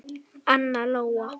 Anna Lóa.